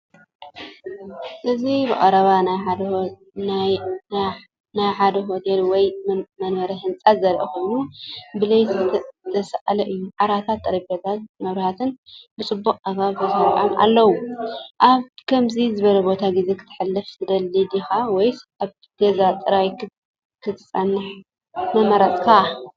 እዚ ብቐረባ ናይ ሓደ ሆቴል ወይ መንበሪ ህንጻ ዘርኢ ኮይኑ፡ ብለይቲ ዝተሳእለ እዩ። ዓራታት፡ ጠረጴዛታትን መብራህትን ብፅቡቅ ኣገባብ ተሰሪዖም ኣለዉ። ኣብ ከምዚ ዝበለ ቦታ ግዜ ከተሕልፍ ትደሊ ዲኻ? ወይስ ኣብ ገዛኻ ጥራይ ክትጸንሕ ምመረጽካ?